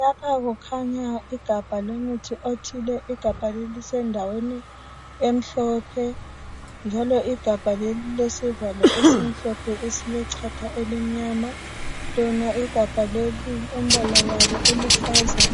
Lapha kukhanya igabha lomuthi othile, igabha leli lisendaweni emhlophe njalo igabha leli lilesivalo esimhlophe esilechatha elimnyama lona igabha leli liluhlaza,